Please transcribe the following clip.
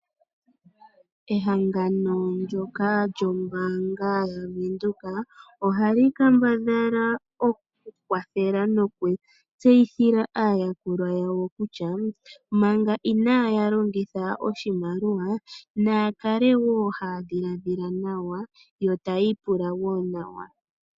Ehangano ndyoka lyombaanga yaVenduka ohali kambadhala oku kwathela nokutseyithila aayakulwa yawo kutya, manga inaaya longitha oshimaliwa naya kale haya dhiladhila nawa yo taya ipula woo nawa.